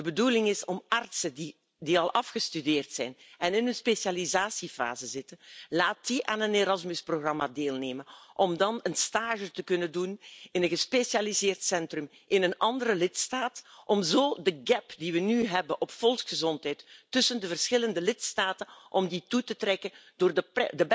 De bedoeling is om artsen die al afgestudeerd zijn en in een specialisatiefase zitten aan een Erasmus programma te laten deelnemen om dan stage te kunnen lopen in een gespecialiseerd centrum in een andere lidstaat om zo de die we nu hebben op volksgezondheid tussen de verschillende lidstaten te dichten door de